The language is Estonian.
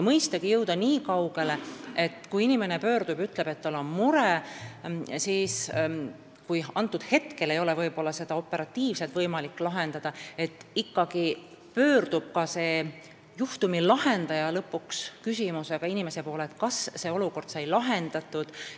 Mõistagi tahame jõuda nii kaugele, et kui inimene pöördub ja ütleb, et tal on mure, siis juhul, kui seda ei ole võimalik sel hetkel operatiivselt lahendada, pöördub juhtumi lahendaja lõpuks inimese poole küsimusega, kas olukord sai lahendatud.